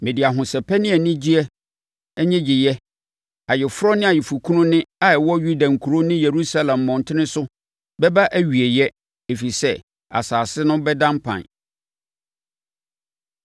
Mede ahosɛpɛ ne anigyeɛ nnyegyeɛ, ayeforɔ ne ayeforɔkunu nne a ɛwɔ Yuda nkuro ne Yerusalem mmɔntene so, bɛba awieeɛ ɛfiri sɛ asase no bɛda mpan.’ ”